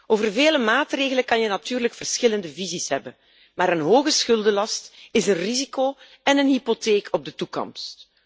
Over vele maatregelen kan je natuurlijk verschillende visies hebben, maar een hoge schuldenlast is een risico en een hypotheek op de toekomst.